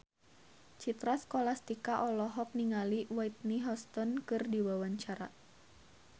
Citra Scholastika olohok ningali Whitney Houston keur diwawancara